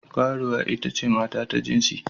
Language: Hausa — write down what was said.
Karuwa ita ce mata ta jinsi.